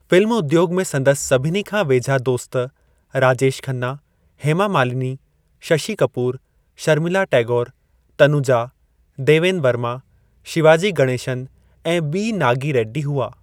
Film उद्योग में संदसि सभिनी खां वेझा दोस्त राजेश खन्ना, हेमा मालिनी, शशि कपूर, शर्मिला टैगोरु, तनुजा, देवेन वर्मा, शिवाजी गणेशन ऐं बी. नागी रेड्डी हुआ।